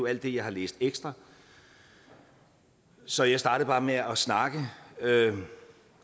alt det jeg har læst ekstra så jeg startede bare med at snakke